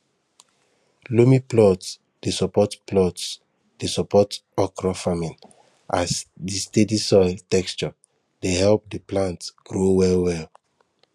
loamy plots dey support plots dey support okra farming as di steady soil texture dey help di plant grow well well